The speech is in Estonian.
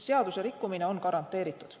Seadusrikkumine on garanteeritud.